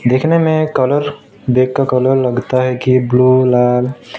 देखने में कलर देखकर कलर लगता है की ब्लू लाल--